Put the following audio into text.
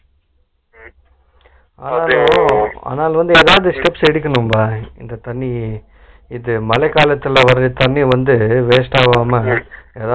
உம் ஆனாலும் வந்து அதாவது steps எடுக்கனும்டா, இந்த தண்ணி இது மழைக்காலத்துல வர்ற தண்ணி வந்து waste ஆகாம எதாவது